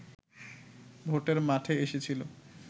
ভোটের মাঠে এসেছিলো